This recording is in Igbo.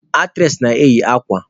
Aktres na-eyi akwa.